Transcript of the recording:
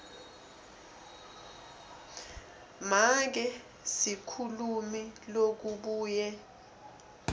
make sikhulumi lokabuye